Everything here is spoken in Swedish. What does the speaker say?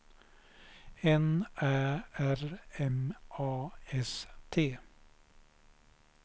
N Ä R M A S T